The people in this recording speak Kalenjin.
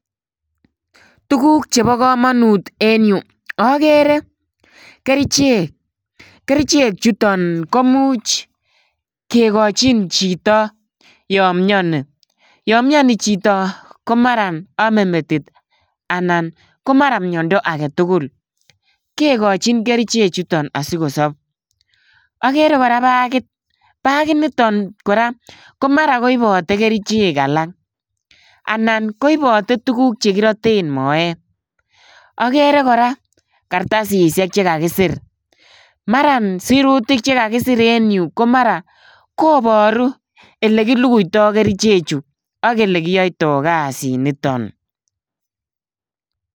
Tuguuk chebo komonut en yu, ogere kerichek. Kerichek chuton komuch kikochin chito yon mioni. Yon mioni chito komaran omee metit anan komara miondo agetugul. Kekochin kerichek chuton asikosop. Agere kora bakit ,bakit nitok kora komara koibote kerichek alak. Anan koibote tuguuk che kirooten moeet. Agere kora Kartasisiek che kakisir, maran sirutik che kakisir en yu, komaran koboru elekilukuito Kerichechu anan ko ele kiyoitoo kasiniton.